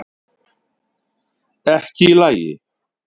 Ekki í lagi